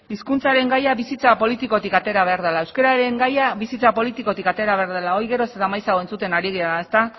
hizkuntzaren gaia bizitza politikotik atera behar dela euskararen gaia bizitza politikotik atera behar dela hori geroz eta maizago entzuten ari gara